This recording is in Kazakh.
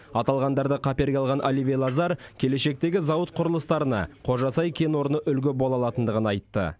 аталғандарды қаперге алған оливье лазар келешектегі зауыт құрылыстарына қожасай кен орны үлге бола алатындығын айтты